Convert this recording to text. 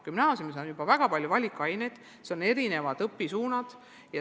Gümnaasiumis on juba väga palju valikaineid, on erinevad õpisuunad.